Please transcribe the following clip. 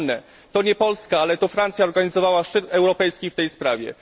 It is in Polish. Przypomnę, że to nie Polska, ale Francja organizowała szczyt europejski w tej sprawie.